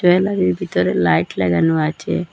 জুয়েলারির ভিতরে লাইট লাগানো আছে।